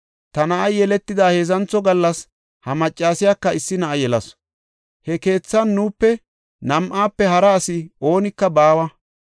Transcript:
Ta na7ay yeletida heedzantho gallas ha maccasiyaka issi na7a yelasu. He keethan nuupe, nam7aafe hara asi oonika baawa.